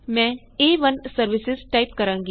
ਮੈਂ ਏ1 ਸਰਵਿਸਾਂ ਟਾਇਪ ਕਰਾਂਗੀ